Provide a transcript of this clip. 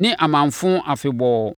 ne amamfo afebɔɔ.